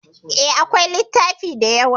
E, akwai littafi da yawa.